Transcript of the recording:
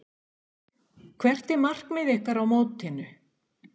Hvert er markmið ykkar á mótinu?